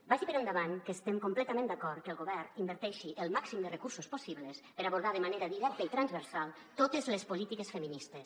vagi per endavant que estem completament d’acord que el govern inverteixi el màxim de recursos possibles per abordar de manera directa i transversal totes les polítiques feministes